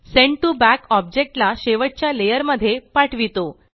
send to back object ला शेवटच्या layer मध्ये पाठवितो